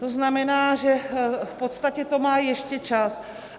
To znamená, že v podstatě to má ještě čas.